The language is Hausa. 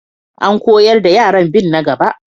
An koyar da yaran bin na gaba.